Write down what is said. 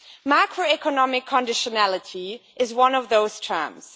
Macroeconomic conditionality' is one of those terms.